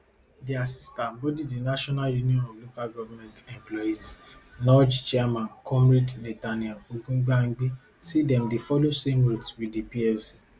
dia sister body di national union of local government employees nulge chairman comrade nathaniel ogungbangbe say dem dey follow same route wit di nlc